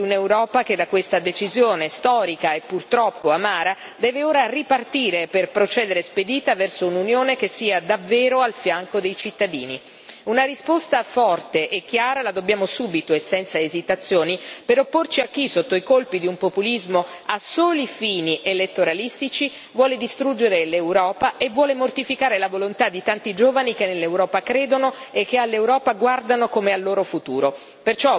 Parliamo di un'Europa che da questa decisione storica e purtroppo amara, deve ora ripartire per procedere spedita verso un'Unione che sia davvero al fianco dei cittadini. Una risposta forte e chiara la dobbiamo subito e senza esitazioni, per opporci a chi, sotto i colpi di un populismo a soli fini elettoralistici, vuole distruggere l'Europa e vuole mortificare la volontà di tanti giovani che nell'Europa credono e che all'Europa guardano come al loro futuro.